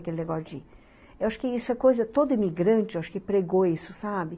Aquele negócio de... Eu acho que isso é coisa... Todo imigrante eu acho que pregou isso, sabe?